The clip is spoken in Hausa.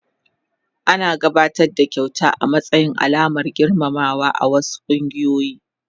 Ana gabatar da kyauta a matsayin alamar girmamawa a wasu kungiyoyi.